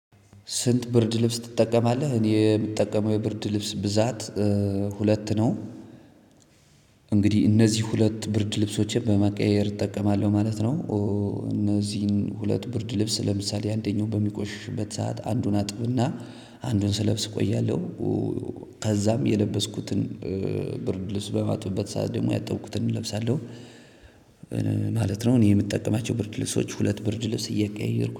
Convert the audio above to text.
ስንት ብርድ ልብስ ትጠቀማለህ? እኔ የምጠቀመው የብርድ ልብስ ብዛት ሁለት ነው እነዚህ ሁለት ብርድልብሶቼ በማቀያየር እጠቀማለሁ ማለት ነው። እነዚህን ሁለት ብርድ ልብስ ለምሳሌ አንደኛው በሚቆሽሽበት ሰዓት አንዱን አጥብና አንዱን ስለብስ እቆያለሁ ከዛም የለበስኩትን ብርድልስ በማጥበት ሰዓት ደግሞ ያጠብኩትን እለብሳለሁ። ማለት ነው እኔ የምጠቀማቸው ብርድ ልብሶች ሁለት ብርድ ልብስ እያቀያየርኩ